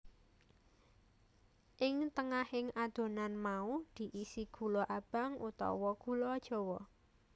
Ing tengahing adonan mau diisi gula abang utawa gula jawa